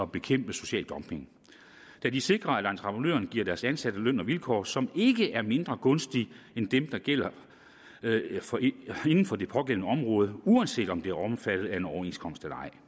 bekæmpe social dumping da de sikrer at entreprenøren giver deres ansatte løn og vilkår som ikke er mindre gunstige end dem der gælder inden for det pågældende område uanset om det er omfattet af en overenskomst eller ej